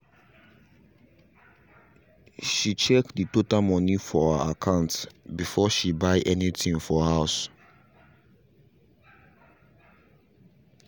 she check the total moni for her akant before buy any thing for house